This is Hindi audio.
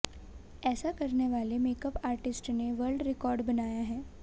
ऐसा करने वाले मेकअप आर्टिस्ट ने वर्ल्ड रिकॉर्ड बनाया है